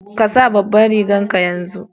Ka sa babanrigan ka yanzu!